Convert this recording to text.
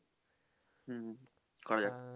হুম